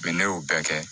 ne y'o bɛɛ kɛ